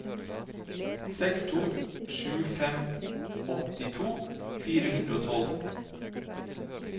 seks to sju fem åttito fire hundre og tolv